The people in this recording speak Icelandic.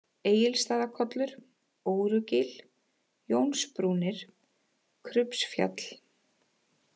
Egilsstaðakollur, Órugil, Jónsbrúnir, Krubbsfjall